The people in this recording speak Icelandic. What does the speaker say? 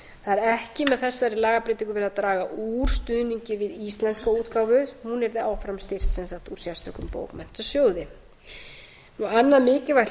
það er ekki með þessari lagabreytingu verið að draga úr stuðningi við íslenska útgáfu hún yrði áfram styrkt úr sérstökum bókmenntasjóði annað mikilvægt hlutverk